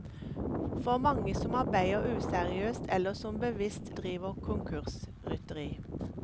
For manges som arbeider useriøst eller som bevisst driver konkursrytteri.